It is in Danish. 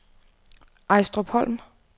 Ejstrupholm